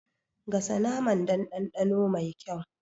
Gasa naman don dandano mai kyau